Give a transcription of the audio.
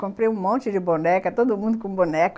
Comprei um monte de boneca, todo mundo com boneca.